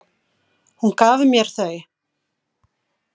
Hún gaf mér þau.